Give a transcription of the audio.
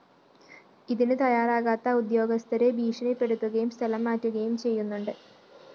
ഇതിന് തയ്യാറാകാത്ത ഉദ്യോഗസ്ഥരെ ഭീഷണിപ്പെടുത്തുകയും സ്ഥലം മാറ്റുകയും ചെയ്യുന്നുണ്ട്